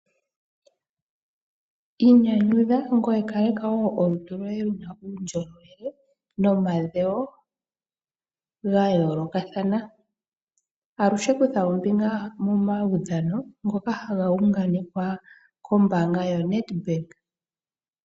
Inyanyudha ngoye kaleka wo olutu lwoye luna uundjolowele nomadhewo ga yoolokathana, aluhe kutha ombinga momaudhano ngoka haga unganekwa kombaanga yoNedbank.